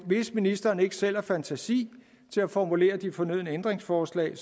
hvis ministeren ikke selv har fantasi til at formulere de fornødne ændringsforslag